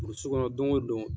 Burusu kɔnɔ don o don.